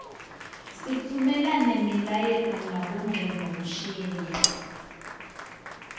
sitfumela nemiyaleto ngabongcondvomshini